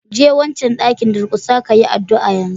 Je wancan dakin, durƙusa kayi addu'a yanzu!